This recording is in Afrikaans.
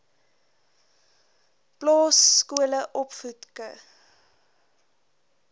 plaas skole opvoedk